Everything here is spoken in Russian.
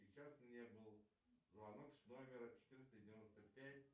сейчас мне был звонок с номера четыреста девяносто пять